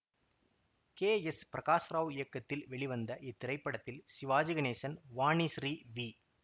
K S Prakash Rao இயக்கத்தில் வெளிவந்த இத்திரைப்படத்தில் சிவாஜி கணேசன் வாணிஸ்ரீ வி